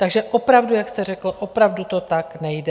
Takže opravdu, jak jste řekl, opravdu to tak nejde.